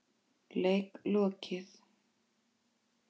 Leik lokið.